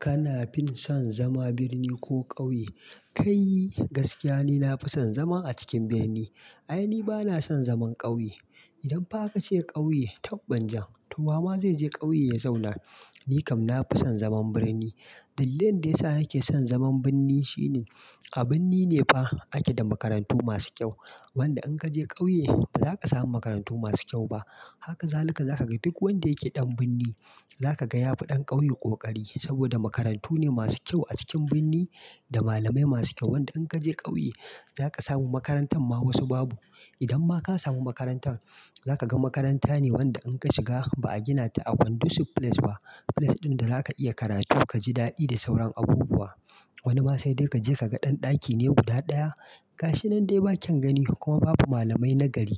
Kana fin son zama birni ko ƙauye? Kai gaskiya ni nafi son zama a cikin birni. Ai ni bana son zaman ƙauye. Idan fa a kace ƙauye, tab banjan to wa ma zai je ƙauye ya zauna? Ni kam nafi son zaman birni. Dalilin da ya sa nake son zaman birni shine a birni ne fa ake da makarantu masu kyau. Wanda in ka je ƙauye ba za ka samu makarantu masu kyau ba. Haka zalika za ka ga duk wanda yake ɗan birni za ka ga ya fi ɗan ƙauye ƙoƙari saboda makarantu ne masu kyau a cikin birni da malamai masu kyau. Wanda in kaje kauye, zaka samu makarantan ma wasu babu idan ma ka samu makarantan, zakaga makaranta ne idan ka shiga ba a gina ta a condusive place ba, place din da zaka iya karatu kaji dadi da sauran abubuwa wani ma sai dai kaje kaga dan dakine guda daya gashi nan dai ba kyaun gani kuma babu malamai na gari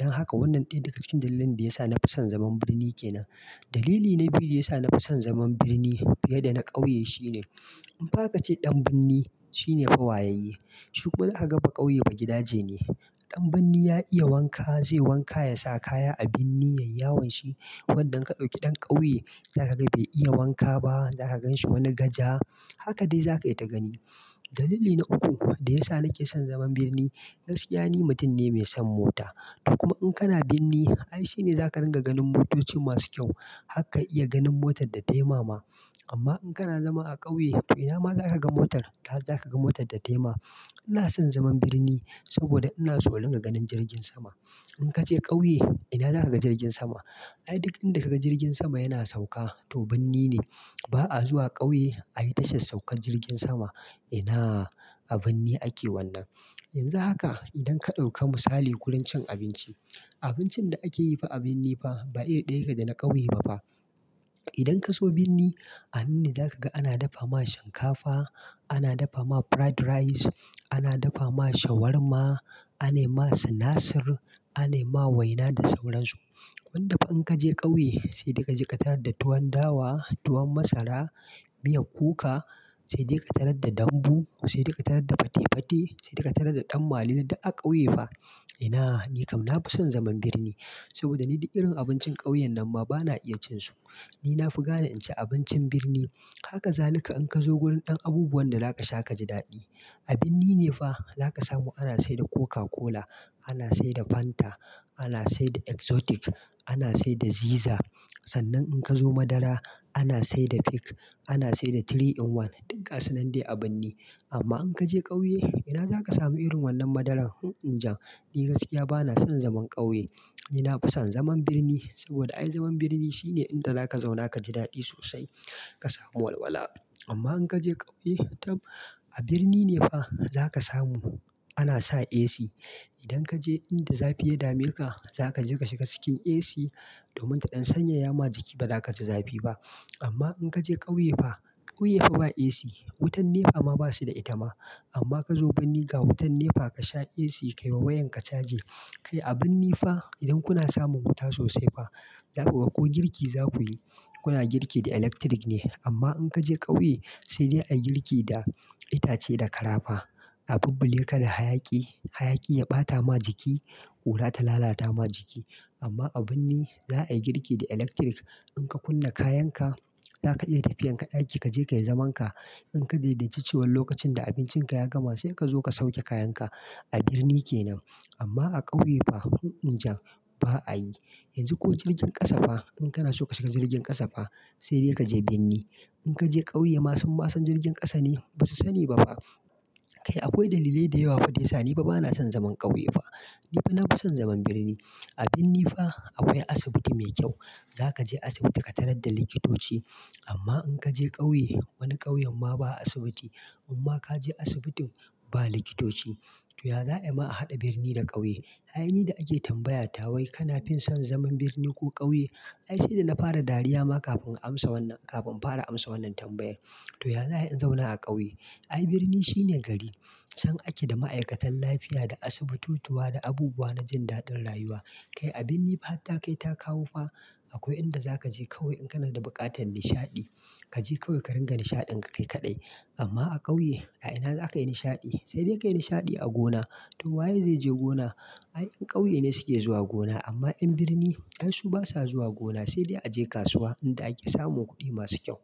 dan haka wannan daya daga cikin dalilin da yasa nafi san zaman birni kenan dalili na biyu da yasa nafi son zaman birni fiya da na kauye shine, idan fa akace dan birni shine fa wayayye shi kuma zakaga bakauye bagidaje ne dan birni ya iya wanka, zai wanka yasa kaya a birni yayi yawan shi, wanda idan ka dauki dan kauye za kaga bau iya wanka ba za ka ganshi wani gaja haka dai zaka yita gani dalili na uku da yasa nake som zaman birni, gaskiya ni mutum ne mai son mota to kuma idan kana birni ai shine zaka dinga ganin motoci masu kyau har ka iya ganin motar data yi ma ma amma idan kana zama a kyauye ina ma zakaga motar har zaka ga motar databyi ma ina son zaman birni saboda ina so na dinga ganin jirgin sama in kaje kauye ina zakaga jirgin sama. Ai duk inda ka ga jirgin sama yana sauka to birni ne. Ba a zuwa ƙauye ayi tashar saukar jirgin sama. Ina a birni ake wannan, yanzu haka idan ka dauki misali gurun cin abince ba, abincin fa da akeyi a birni fa ba iri daya yake dana kauye ba idan kazo birni, a nan ne zakaga ana dafa ma shinkafa, ana dafa ma fried rice, ana dafa ma shawarma, anai ma sinasir, anai ma waina da sauran su wanda fa idan kaje kauye sai dai kaje ka tarar da tuwan dawa, tuwan masara miyan kuka, sai dai ka tarar da dambu, sai dai ka tarar da fate fate, sai dai ka tarar da dan madidi duk a kauye fa ina nikam nafi son zaman birni saboda ni duk irin abincin kauyen nan ma ni bana iya cin su ni nafi gane in ci abincin birni haka zalika idan kazo wurin dan abubuwan da zaka sha kaji dadi a birni ne fa zaka samu ana saida coca cola ana saida fanta ana saida exotic ana saida ziza sannan idan kazo madara ana saida peak ana saida 3in1 duk gasu nan dai a birni amma idan kaje kauye ina zaka samu irin wannan madaran emm emm jam ni gaskiya bana son zaman kauye ni nafi son zaman birni, saboda ai zaman birni shine inda zaka zauna kaji dadi sossai. Ka samu walwala. Amma idan kaje kauye tab, a birni ne fa zaka samu ana sa AC idan kaje inda zafi ya dame ka, zakaje ka shiga cikin AC domin ta dan sanyaya maka jiki baza kaji zafi ba amma in ka je ƙauye fa ƙauye fa ba AC. Wutan Nepa ma basu da ita ma amma idan kazo birni ga wutan nepa kasha AC kayi wa yawan ka chaji kai a birni fa idan kuna samun wuta sossai fa zaku ga ko girki zakuyi kuna girki da electric ne amma in ka je ƙauye sai dai ayi girki da itace da kara fa a bulbule ka da hayaki, hayaki ya bata ma jiki kura ta bata ma jiki amma a birni za ayi girki da electric in ka kunna kayanka zaka iya tafiyan ka daki kaje kayi zaman ka in ka daidai ci lokacin da abincin ka ya gama sai kazo ka sauke kayan ka A birni kenan. Amma a kaiye fa hmm emm jam ba ayi yanzu ko jirgin kasa fa, idan kana so ka shiga jirgin kasa fa sai dai kaje birni idan kaje kauye sun ma san jirgin kasa ne? Basu sani ba fa kai akwai dalilai dayawa da yasa nifa bana son zaman kauye fa nifa na fi son zaman birni. A birni fa akwai asibiti mai kyau. Za ka je asibiti ka tarar da likitoci amma idan kaje kauye, wani kauyen ma ba asibitu amma ka je asibitin ba likitoci. To ya za ayi ma a hada birni da kauye ai ni da ana tambaya ta kana fin son zaman birni ko kau ai shine na fara dariya ma kafin na fara amsa wannan tambayan to ya za ayi in zauna a kauye. Ai birni shine gari. A chan ake da ma'aikatan lafiya da asibibututuwa da abubuwa na jindadin rayuwa kai a birni fa har ta kai ta kawo fa akwai idan zakaje kawai idan kana bukatar nishadi kaje kawai ka dinga nishadin ka kai kadai amma a kauye a ina zakayi nishadi sai dai ka yi nishaɗi a gona. To waye zaije gona yan kauye ne ke zuwa gona' amma yan birni ai su basa zuwa gona sai dai aje kasuwa inda ake samun kudi masu kyau.